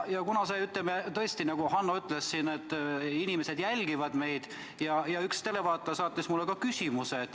Nagu Hanno siin ütles, siis inimesed tõesti jälgivad meid ja üks televaataja saatis mulle ka küsimuse.